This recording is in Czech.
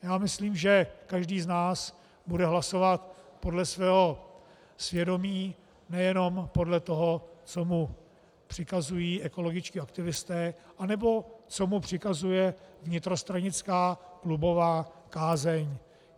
Já myslím, že každý z nás bude hlasovat podle svého svědomí, nejenom podle toho co mu přikazují ekologičtí aktivisté anebo co mu přikazuje vnitrostranická klubová kázeň.